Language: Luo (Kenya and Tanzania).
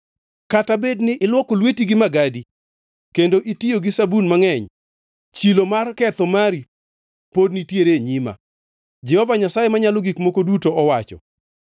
Kata bedni ilwoko lweti gi magadi kendo itiyo gi sabun mangʼeny, chilo mar ketho mari pod nitiere e nyima,” Jehova Nyasaye Manyalo Gik Moko Duto owacho.